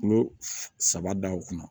Kulo saba da o kunna